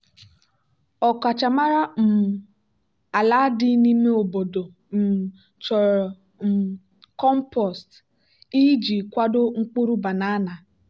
ọkachamara um ala dị n'ime obodo um chọrọ um compost iji kwado mkpụrụ banana.